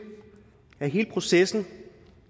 at hele processen